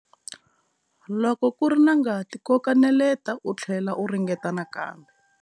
Loko ku ri na ngati koka neleta u tlhlela u ringeta nakambe.